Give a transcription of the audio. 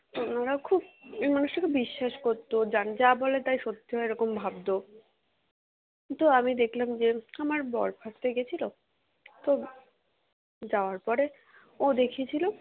তো ওনারা খুব মানুষটাকে বিশ্বাস করতো যান যা বলে তাই সত্যি হয় এরকম ভাবতো তো আমি দেখলাম যে আমার বর first এ গেছিলো তো যাওয়ার পরে ও দেখিয়েছিলো